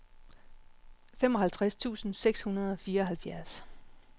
femoghalvtreds tusind seks hundrede og fireoghalvtreds